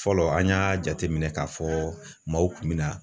Fɔlɔ an y'a jateminɛ k'a fɔ maaw kun mina